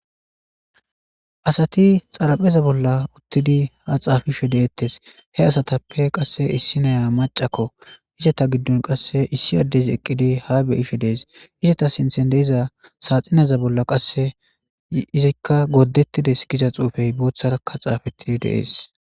Asati xarapheza bolla uttidi ha xaafishe deetes he asatappe qade issiniya macako eta gidon qase issi adezi eqidi ha beyishe dees eta sinthen de'iza saxineza bolla qase izika gordetides Giza xuufey botharaka xaafeti dees.